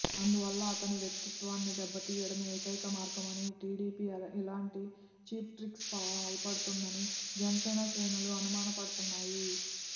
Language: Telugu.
అందువల్ల అతని వ్యక్తిత్వాన్ని దెబ్బతీయడమే ఏకైక మార్గమని టీడీపీ ఇలాంటి ఛీప్ట్రిక్స్కు పాల్పడుతోందని జనసేన శ్రేణులు అనుమానపడుతున్నాయి